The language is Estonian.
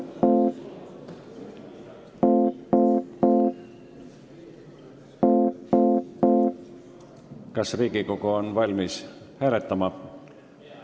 Kas Riigikogu on valmis hääletama?